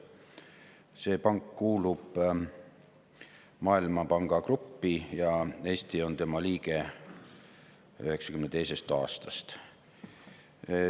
See pank kuulub Maailmapanga Gruppi ja Eesti on tema liige 1992. aastast.